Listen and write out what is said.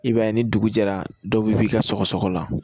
I b'a ye ni dugu jɛra dɔw bi ka sɔgɔsɔgɔ la